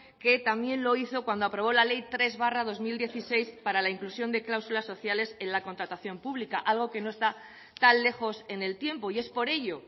que también lo hizo cuando aprobó la ley tres barra dos mil dieciséis para la inclusión de cláusulas sociales en la contratación pública algo que no está tan lejos en el tiempo y es por ello